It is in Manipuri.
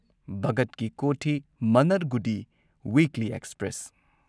ꯚꯒꯠ ꯀꯤ ꯀꯣꯊꯤ ꯃꯥꯟꯅꯔꯒꯨꯗꯤ ꯋꯤꯛꯂꯤ ꯑꯦꯛꯁꯄ꯭ꯔꯦꯁ